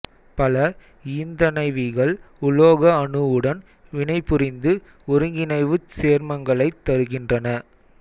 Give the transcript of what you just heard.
பல ஈந்தணைவிகள் உலோக அணுவுடன் வினைபுரிந்து ஒருங்கிணைவுச் சேர்மங்களைத் தருகின்றன